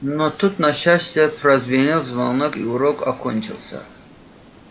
но тут на счастье прозвенел звонок и урок окончился